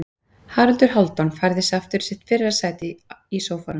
Haraldur Hálfdán færði sig aftur í sitt fyrra sæti í sófanum.